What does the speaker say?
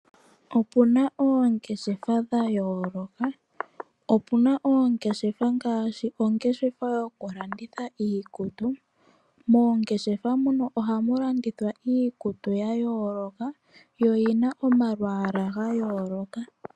Opuna oongeshefa dha yooloka, opuna oongeshefa ngaashi ongeshefa yoku landitha iikutu. Moongeshefa muno ohamu landithwa iikutu ya yooloka yo oyi na omalwaala ga yooloka.